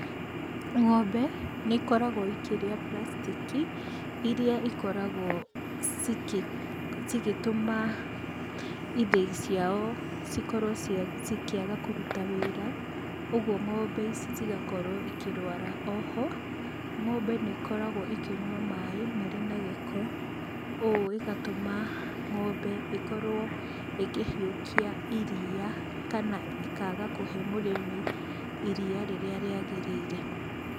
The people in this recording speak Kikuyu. Ng'ombe nĩ ikoragwo ikĩrĩa plastaki iria cikoragwo cigĩtũma ithĩi ciao cikorwo cikĩaga kũruta wĩra ũgo ng'ombe ici cigakorwo ikĩrwara oho ngombe nĩ ĩkoragwo ĩkĩnyua maaĩ marĩ na gĩko ũũ ĩgatũma ng'ombe ĩkorwo ĩkĩhiũkia iria kana ĩkaga kũhe mũrĩmi iria rĩrĩa rĩagĩrĩire.